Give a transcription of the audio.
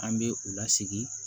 An bɛ u lasigi